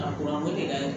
A de ka ɲi